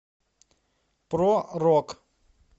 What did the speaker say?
про рок